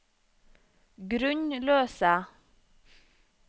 grunnløse